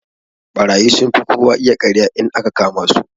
Ɓarayi sunfi kowa iya karya in aka kama su.